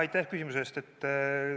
Aitäh küsimuse eest!